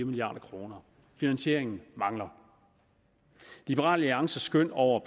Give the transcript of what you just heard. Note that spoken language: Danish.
milliard kroner finansieringen mangler liberal alliances skøn over